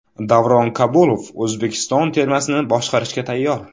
Davron Kabulov O‘zbekiston termasini boshqarishga tayyor.